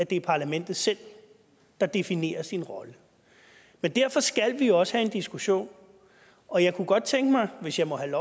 det er parlamentet selv der definerer sin rolle men derfor skal vi også have en diskussion og jeg kunne godt tænke mig hvis jeg må have